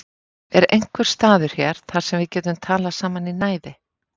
Er einhver staður hér þar sem við getum talað saman í næði?